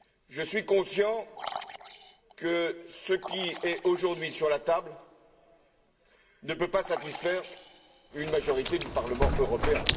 Je suis conscient que ce qui est aujourd'hui sur la table ne peut pas satisfaire une majorité du Parlement européen.